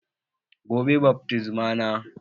Gobe bat mitzbah na